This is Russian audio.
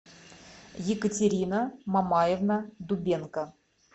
екатерина мамаевна дубенко